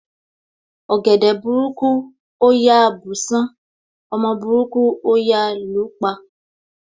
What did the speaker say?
Ọ̀gẹ̀dẹ̀ burúkú ò yá bùsán, ọmọ burúkú ò yá lú pa.